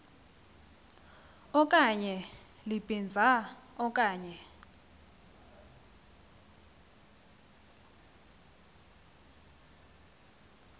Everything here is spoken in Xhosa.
okanye libinza okanye